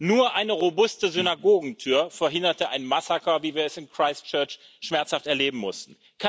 Nur eine robuste Synagogentür verhinderte ein Massaker, wie wir es in Christchurch schmerzaft erleben mussten.